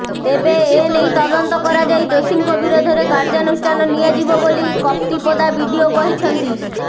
ତେବେ ଏନେଇ ତଦନ୍ତ କରାଯାଇ ଦୋଷୀଙ୍କ ବିରୋଧରେ କାର୍ଯ୍ୟାନୁଷ୍ଠାନ ନିଆଯିବ ବୋଲି କପ୍ତିପଦା ବିଡିଓ କହିଛନ୍ତି